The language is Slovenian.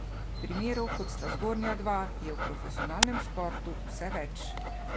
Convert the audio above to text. Primerov kot sta zgornja dva je v profesionalnem športu vse več.